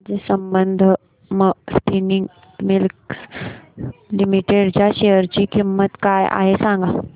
आज Sambandam spinning mills limited च्या share ची किंमत काय आहे हे सांगा